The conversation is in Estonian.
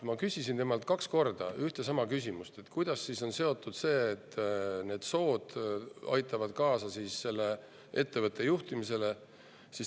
Ma küsisin temalt kaks korda ühte ja sama küsimust, kuidas aitavad need sood kaasa ettevõtte juhtimisele.